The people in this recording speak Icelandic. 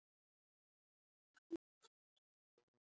Geri aðrir afar betur.